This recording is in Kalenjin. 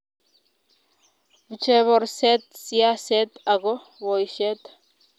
pchee borset siaset ago boishet